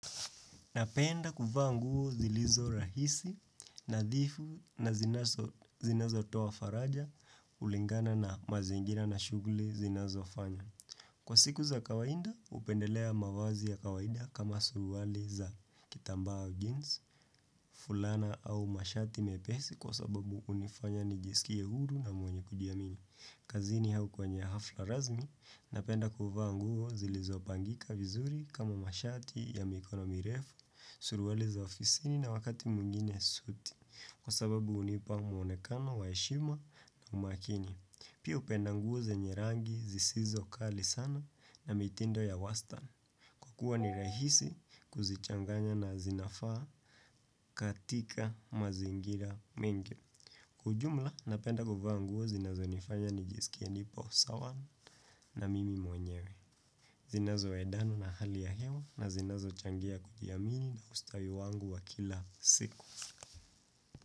Napenda kuvaa nguo zilizo rahisi, nadhifu na zinazotoa faraja, kulingana na mazingira na shuguli zinazofanya. Kwa siku za kawaida, hupendelea mavazi ya kawaida kama suruali za kitambaa au jeans, fulana au mashati mepesi kwa sababu hunifanya nijisikie huru na mwenye kujiamini. Kazini au kwenye hafla rasmi, napenda kufa nguo zilizopangika vizuri kama mashati ya mikono mirefu, suruali za ofisini na wakati mwingine suti. Kwa sababu hunipa mwonekano, wa heshima na umakini. Pia hupenda nguo zenye rangi zisizo kali sana na mitindo ya wastan kwa kuwa ni rahisi kuzichanganya na zinafaa katika mazingira mengi. Kwa ujumla napenda kuvaa nguo zinazonifanya nijisikie nipo sawa namimi mwenyewe. Zinazoendana na hali ya hewa na zinazo changia kujiamini na ustawi wangu wa kila siku.